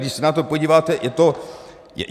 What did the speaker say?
Když se na to podíváte, je to...